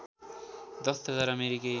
१० हजार अमेरिकी